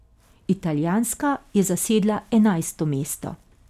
Italijanska je zasedla enajsto mesto.